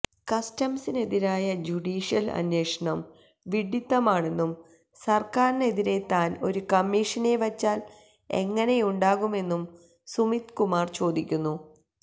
കസ്റ്റംസിനെതിരായ judicial അന്വേഷണം വിഡ്ഢിത്തമാണെന്നും സർക്കാരിനെതിരെ താൻ ഒരു കമ്മിഷനെ വച്ചാൽ എങ്ങനെയുണ്ടാകുമെന്നും സുമിത് കുമാർ ചോദിക്കുന്നു